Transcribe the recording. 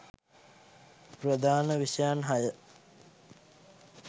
ප්‍රධාන විෂයයන් හය